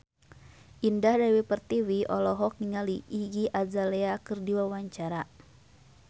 Indah Dewi Pertiwi olohok ningali Iggy Azalea keur diwawancara